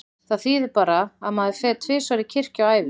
Það þýðir bara að maður fer tvisvar í kirkju á ævinni.